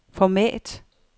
format